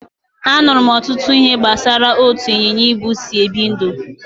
Anụrụ m ọtụtụ ihe gbasara etu ịnyịnya ibu si ebi ndụ